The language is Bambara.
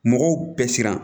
Mɔgɔw bɛɛ siran